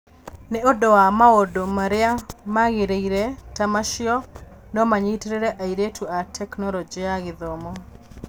Nĩ ũndũ wa maũndũ marĩa magĩrĩire ta macio no manyitĩrĩre airĩtu na Tekinoronjĩ ya Gĩthomo.